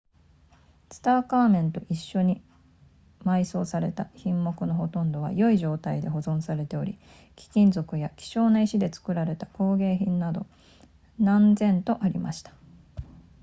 ツタンカーメンと一緒に埋葬された品目のほとんどは良い状態で保存されており貴金属や希少な石で作られた工芸品などが何千とありました